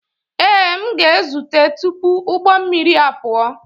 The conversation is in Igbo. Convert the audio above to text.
Ee, m ga-ezute tupu ụgbọ mmiri apụọ.